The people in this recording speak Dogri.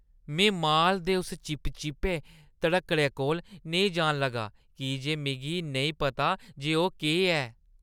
में माल दे उस चिपचिपे ध्रक्कड़ै कोल नेईं जान लगा की जे मिगी नेईं पता जे ओह् केह् ऐ।